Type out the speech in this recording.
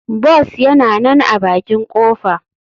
Bus yana nan a bakin kofa.